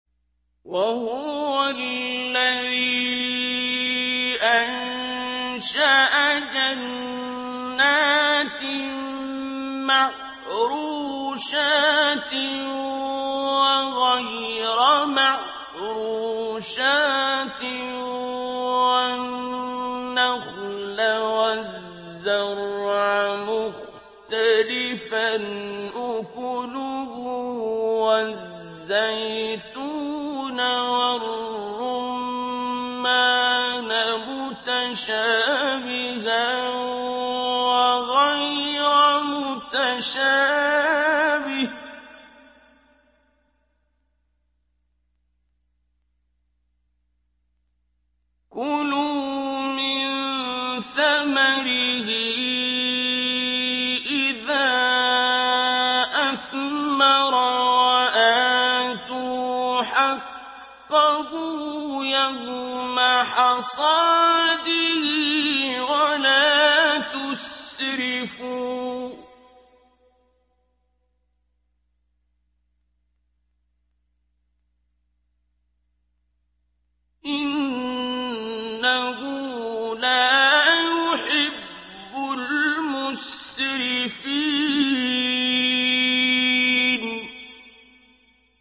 ۞ وَهُوَ الَّذِي أَنشَأَ جَنَّاتٍ مَّعْرُوشَاتٍ وَغَيْرَ مَعْرُوشَاتٍ وَالنَّخْلَ وَالزَّرْعَ مُخْتَلِفًا أُكُلُهُ وَالزَّيْتُونَ وَالرُّمَّانَ مُتَشَابِهًا وَغَيْرَ مُتَشَابِهٍ ۚ كُلُوا مِن ثَمَرِهِ إِذَا أَثْمَرَ وَآتُوا حَقَّهُ يَوْمَ حَصَادِهِ ۖ وَلَا تُسْرِفُوا ۚ إِنَّهُ لَا يُحِبُّ الْمُسْرِفِينَ